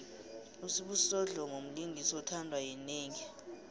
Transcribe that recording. usibusiso dlomo mlingisi othandwa yinengi